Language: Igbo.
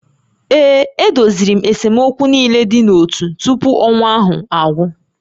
Ee, e doziri esemokwu niile dị n'ótú tupu ọnwa ahụ agwụ